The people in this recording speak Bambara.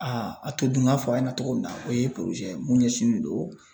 a todunkan fɔ a ɲɛna cogo min na o ye mun ɲɛsinnen don